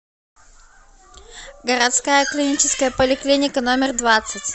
городская клиническая поликлиника номер двадцать